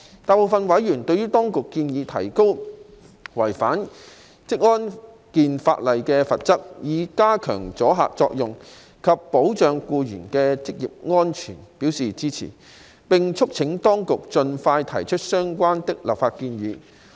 大部分委員對當局建議提高違反職安健法例的罰則，以加強阻嚇作用及保障僱員的職業安全表示支持，並促請當局盡快提出相關的立法建議。